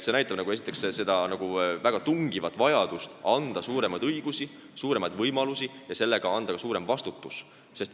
See näitab väga tungivat vajadust anda neile suuremaid õigusi ja võimalusi ning koos sellega ka suurem vastutus.